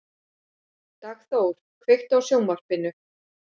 Dagþór, kveiktu á sjónvarpinu.